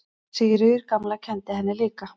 Sigríður gamla kenndi henni líka.